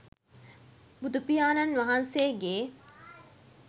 බුදුපියාණන් වහන්සේගේ